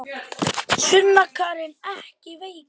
Sunna Karen: Ekki veikar?